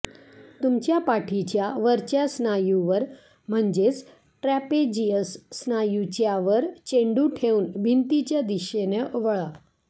तुमच्या पाठीच्या वरच्या स्नायूवर म्हणजेच ट्रॅपेझियस स्नायूच्यावर चेंडू ठेवून भिंतीच्या दिशेनं वळा